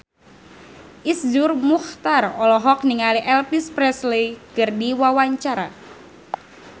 Iszur Muchtar olohok ningali Elvis Presley keur diwawancara